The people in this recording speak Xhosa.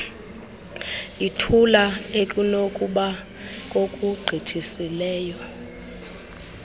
ithula ekunokuba kokugqithisileyo